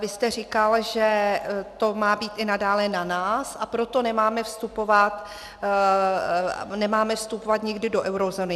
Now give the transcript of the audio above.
Vy jste říkal, že to má být i nadále na nás, a proto nemáme vstupovat nikdy do eurozóny.